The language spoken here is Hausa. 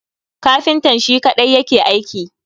Kafintan Shi kadai yake aiki